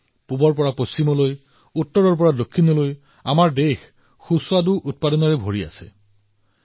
পূবৰ পৰা পশ্চিমলৈ উত্তৰৰ পৰা দক্ষিণলৈ আমাৰ দেশত এনে অনন্য সোৱাদ আৰু সামগ্ৰীৰে পৰিপূৰ্ণ